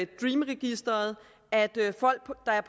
dream registeret at folk der er